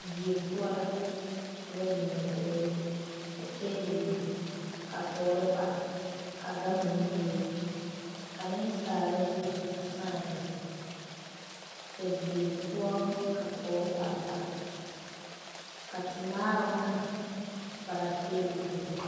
Die poɔ la ka ba biŋ dakori, ka tabol biŋ, ka tɔɔre pare ka gama meŋ bebe ka nensaala zu a saa a be ka die poɔ ka tɔɔre pare pare ka temaaroŋ are a pare atabol zeŋ.